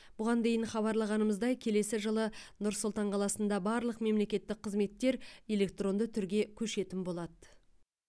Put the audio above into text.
бұған дейін хабарлағанымыздай келесі жылы нұр сұлтан қаласында барлық мемлекеттік қызметтер электронды түрге көшетін болады